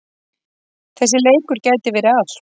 Þessi leikur gæti verið allt.